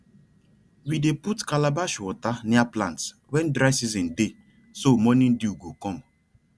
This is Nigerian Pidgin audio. we dey put calabash water near plants when dry season dey so morning dew go come